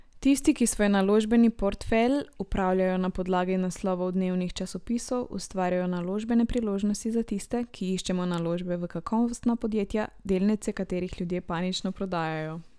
Tisti, ki svoj naložbeni portfelj upravljajo na podlagi naslovov dnevnih časopisov, ustvarjajo naložbene priložnosti za tiste, ki iščemo naložbe v kakovostna podjetja, delnice katerih ljudje panično prodajajo.